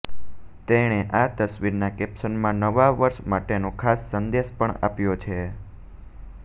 તેણે આ તસવીરના કેપ્શનમાં નવા વર્ષ માટેનો ખાસ સંદેશ પણ આપ્યો છે